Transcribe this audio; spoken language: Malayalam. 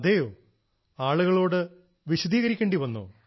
അതേയോ ആളുകളോട് വിശദീകരിക്കേണ്ടി വന്നോ